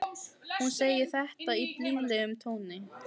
Hún segir þetta í blíðlegum tóni.